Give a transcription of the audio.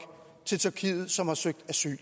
som har søgt asyl